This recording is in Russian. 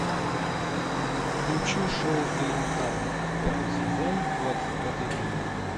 включи шоу элементарно пятый сезон двадцать пятый эпизод